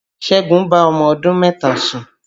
Ṣẹ́gun bá ọmọ ọdún mẹ́ta sùn